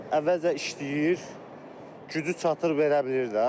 Əvvəlcə işləyir, gücü çatır verə bilir də.